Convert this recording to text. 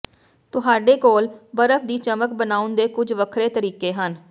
ਤੁਹਾਡੇ ਕੋਲ ਬਰਫ ਦੀ ਚਮਕ ਬਣਾਉਣ ਦੇ ਕੁਝ ਵੱਖਰੇ ਤਰੀਕੇ ਹਨ